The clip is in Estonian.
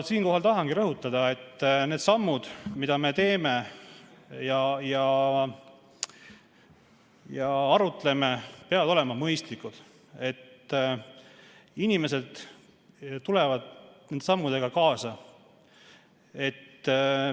Siinkohal tahangi rõhutada, et need sammud, mida me teeme ja mille üle arutleme, peavad olema mõistlikud, et inimesed tuleksid nende sammudega kaasa.